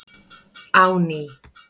á ný.